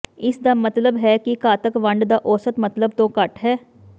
ਇਸਦਾ ਮਤਲਬ ਹੈ ਕਿ ਘਾਤਕ ਵੰਡ ਦਾ ਔਸਤ ਮਤਲਬ ਤੋਂ ਘੱਟ ਹੈ